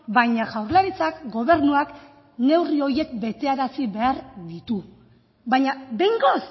baina jaurlaritzak gobernuak neurri horiek betearazi behar ditu baina behingoz